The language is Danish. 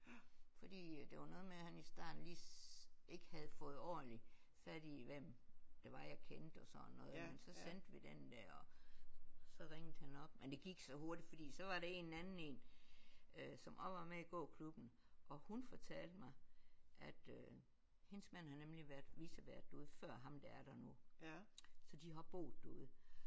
Fordi øh det var noget med at han i starten lige ikke havde fået ordenligt fat i hvem det var jeg kendte og sådan noget men så sendte vi den der og så ringet han op men det gik så hurtigt fordi så var det en anden en øh som også var med i gåklubben og hun fortalte mig at øh hendes mand havde nemlig været vicevært derude før ham der er nu så de har boet derude